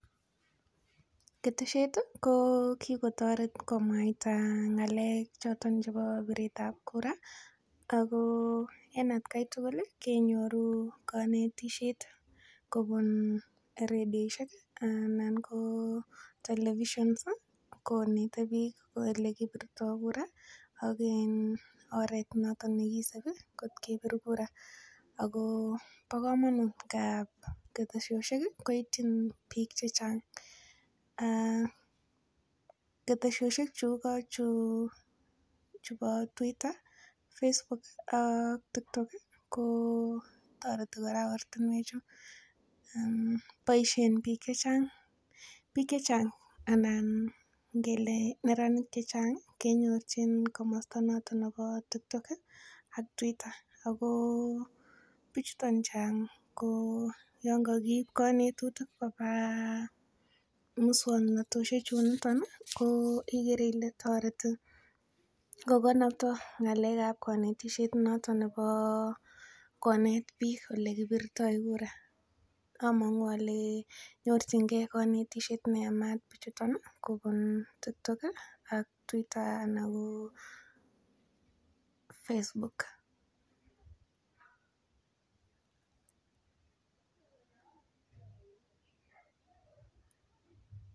ketesheet iih ko kigotoreet komwaita ngaleek choton chebo bireet ab kura agoo en atkai tugul iih kenyoruu konetisyeet kobun redioshek anan televisions iih konete biik elegibirtoo kura ak um iiiin um oreet noton negisibi kot kebiir kura ago bokomonuut, keteshoshek iih koityi biik chechang um aaah keteshoshek chu igo chuu chubo twitter, facebook ak tiktok iih kotoreti koraa ortinweek chu, boishen biik chechang, biik chechang anan ngele neranik chechang kenyorchin komosto noton nebo tiktok iih ak Twitter, agoo bichuton chang koo yoon kogiib konetutik kobwaa muswoknatoshek chuton iih igere ile kotoreti kogonobtoo ngaleek ab konetishet noton neboo koneet biik elegibirtoo kuraa, omunguu ole nyorchingee konetisheet neyamaat bichuton iih kobuun Tiktok iih ak Twitter anan koo Facebook,